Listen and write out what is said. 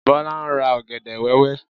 Bọ́lá ń ra ọ̀gẹ̀dẹ̀ wẹ́wẹ́.